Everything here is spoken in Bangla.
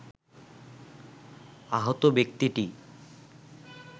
আহত ব্যক্তিটি